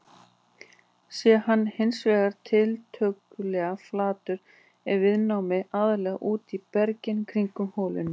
Sé hann hins vegar tiltölulega flatur er viðnámið aðallega úti í berginu kringum holuna.